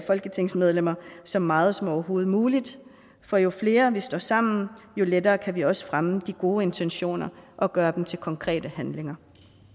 folketingsmedlemmer så meget som overhovedet muligt for jo flere vi står sammen jo lettere kan vi også fremme de gode intentioner og gøre dem til konkrete handlinger